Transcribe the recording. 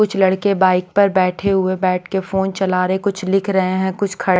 कुछ लड़के बाइक पर बैठे हुए बैठ के फोन चला रहे कुछ लिख रहे हैं कुछ खड़ --